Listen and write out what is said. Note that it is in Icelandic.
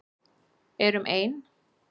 Erum ein.